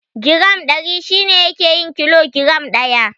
Giram Ɗari shi ne yake yin kilo giram ɗaya.